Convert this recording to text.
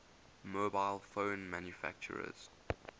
mobile phone manufacturers